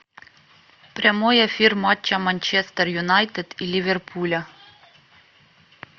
прямой эфир матча манчестер юнайтед и ливерпуля